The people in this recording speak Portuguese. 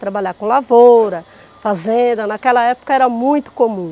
Trabalhar com lavoura, fazenda, naquela época era muito comum.